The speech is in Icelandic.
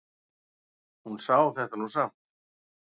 Hún sá þetta nú samt.